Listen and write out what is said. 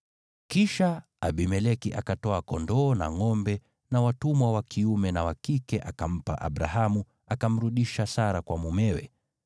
Kisha Abimeleki akatwaa kondoo na ngʼombe, na watumwa wa kiume na wa kike akampa Abrahamu, akamrudisha Sara kwa mumewe.